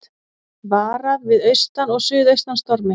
Varað við austan og suðaustan stormi